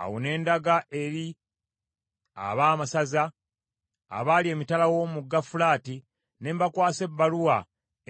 Awo ne ndaga eri abaamasaza abaali emitala w’omugga Fulaati ne mbakwasa ebbaluwa